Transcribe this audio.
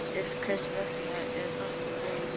En hvers vegna er þetta góður kostur?